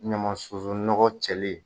Ɲama sunzun nɔgɔ cɛli ma